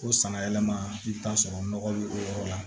O sanna yɛlɛma i bɛ t'a sɔrɔ nɔgɔ bɛ o yɔrɔ la